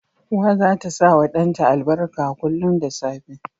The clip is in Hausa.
Uwa zata sawa dan ta albarka kullun da safe